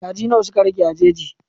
Kaji nawa suka rage a jeji?